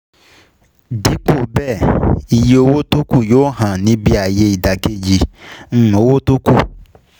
Dípò bẹ́ẹ̀, iye owó tókù yóò hàn níbí ayé ìdàkejì um owó tókù.